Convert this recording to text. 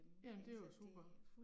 Ja men det er jo super